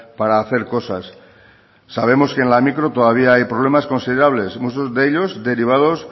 para hacer cosas sabemos que en la micro todavía hay problemas considerables muchos de ellos derivados